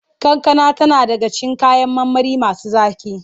Kankana tana daga cikin kayan marmari masu zaƙi.